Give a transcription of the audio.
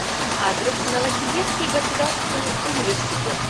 адрес новосибирский государственный университет